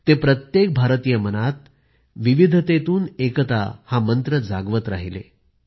ते प्रत्येक भारतीय मनात विविधतेतून एकता हा मंत्र जागवत राहिले